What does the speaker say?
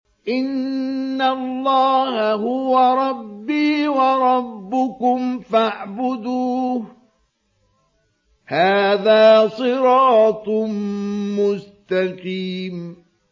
إِنَّ اللَّهَ هُوَ رَبِّي وَرَبُّكُمْ فَاعْبُدُوهُ ۚ هَٰذَا صِرَاطٌ مُّسْتَقِيمٌ